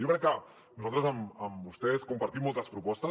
jo crec que nosaltres amb vostès compartim moltes propostes